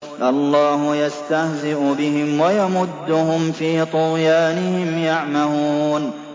اللَّهُ يَسْتَهْزِئُ بِهِمْ وَيَمُدُّهُمْ فِي طُغْيَانِهِمْ يَعْمَهُونَ